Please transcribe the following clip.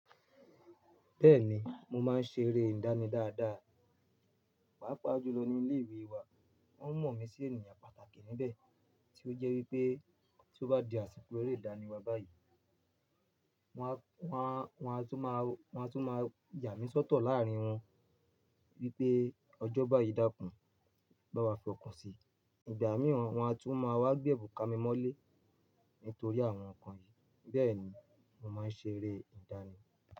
Bẹ́ẹ̀ni, mo máa ń ṣe eré ìdánì dáadáa. Pàápàá jùlọ ní ilé ìwé wa. Wọ́n mọ̀ mí sí ènìyàn pàtàkì níbẹ̀, tí ó jẹ́ wípé tí ó bá di àsìkò eré ìdánì wa báyìí, wọ́n á, wọ́n á, wọ́n á tún máa, wọ́n á tún máa yà mí sọ́tọ̀ láàárín wọn wípé ọjọ́bá yìí dákún, bá wa fẹ́ ọkùn sì. Ìgbà mìíràn wọ́n á tún máa wá gbé èbùn ka mi mọ́lé nítorí àwọn nǹkan yìí. Bẹ́ẹ̀ ni mo máa ń ṣe eré ìdánì.